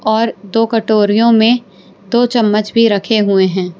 और दो कटोरियों में दो चम्मच भी रखे हुए हैं।